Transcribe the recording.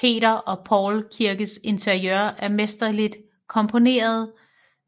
Peter og Paul kirkes interiør er mesterligt komponeret